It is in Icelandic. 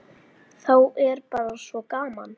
Þá er bara svo gaman.